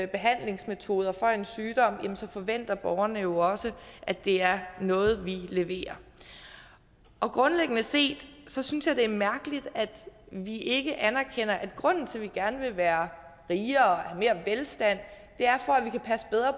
behandlingsmetoder for en sygdom forventer borgerne jo også at det er noget vi leverer grundlæggende set synes jeg det er mærkeligt at vi ikke anerkender at grunden til at vi gerne vil være rigere have mere velstand er